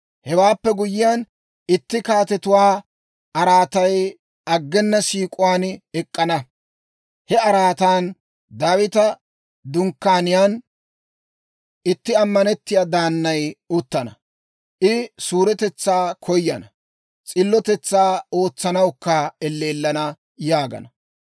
Hewaappe guyyiyaan, itti kaatetuwaa araatay aggena siik'uwaan ek'k'ana; he araatan, Daawita dunkkaaniyaan itti ammanettiyaa daannay uttana. I suuretetsaa koyana; s'illotetsaa ootsanawukka elleellana» yaagana.